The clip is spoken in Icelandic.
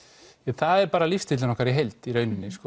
það er bara lífsstíllinn okkar í heild í rauninni